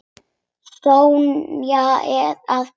Sonja er að koma.